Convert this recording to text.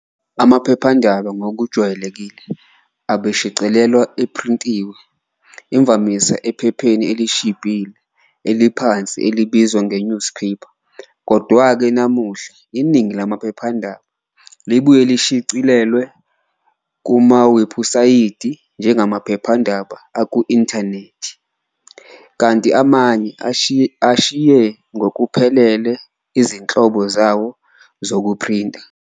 Amaphephandaba ngokujwayelekile abeshicilelwa ephrintiwe, imvamisa ephepheni elishibhile, eliphansi elibizwa nge- newsprint. Kodwa-ke, namuhla iningi lamaphephandaba libuye lishicilelwe kumawebhusayithi njengamaphephandaba aku-inthanethi, kanti amanye ashiye ngokuphelele izinhlobo zawo zokuphrinta.